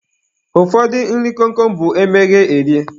Ụfọdụ nri kom kom bụ e meghee, erie